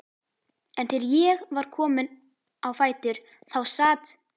En þegar ég var komin á fætur þá sat